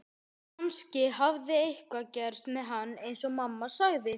Kannski hafði eitthvað gerst með hann eins og mamma sagði.